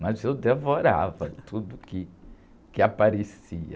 Mas eu devorava tudo que, que aparecia.